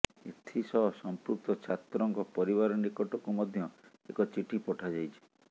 ଏଥିସହ ସମ୍ପୃକ୍ତ ଛାତ୍ରଙ୍କ ପରିବାର ନିକଟକୁ ମଧ୍ୟ ଏକ ଚିଠି ପଠାଯାଇଛି